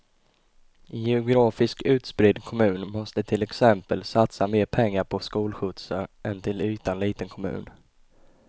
En geografiskt utspridd kommun måste till exempel satsa mer pengar på skolskjutsar än en till ytan liten kommun.